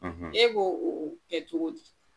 E b'o o o kɛ togo di